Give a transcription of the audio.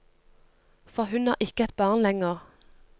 For hun er ikke et barn lenger.